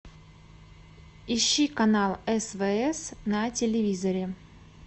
ищи канал свс на телевизоре